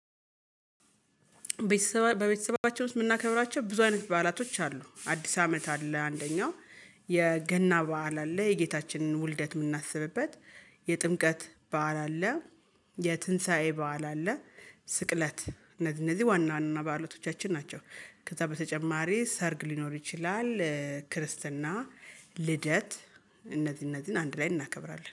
ቤተሰባ በቤተሰባቸው ውስጥ የምናከብራቸው ብዙ አይነት በዓላቶች አሉ። አዲስ አመት አለ አንደኛው። የገና በዓል አለ የጌታችንን ውልደት የምናስብበት። የጥምቀት በዓል አለ። የትንሳኤ በዓል አለ። ስቅለት፣ እነዚህ እነዚህ ዋና ዋና ባአላቶቻችን ናቸው። ከዛ በተጨማሪ ሰርግ ሊኖር ይችላል፣ ክርስትና፣ ልደት እነዚህን እነዚህን አንድ ላይ እናከብራለን።